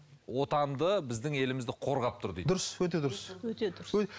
отанды біздің елімізді қорғап тұр дейді дұрыс өте дұрыс өте дұрыс